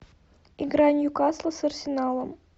игра ньюкасла с арсеналом